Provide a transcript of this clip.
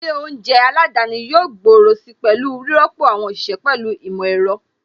Ilé oúnjẹ aládani yóò gbòòrò si pẹ̀lú rírọ́pò àwọn òṣìṣẹ́ pẹ̀lú ìmọ̀ ẹ̀rọ.